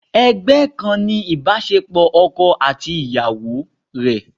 Ẹgbẹ́ kan ni ibasepo ọkọ àti ìyàwó rẹ.